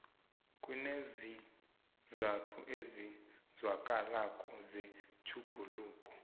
kuneenzathu ezizwakalako zetjhuguluko